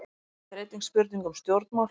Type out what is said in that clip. Þetta er einnig spurning um stjórnmál.